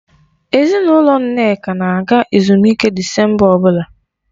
Ezinụlọ Nneka na-aga ezumike Disemba ọbụla.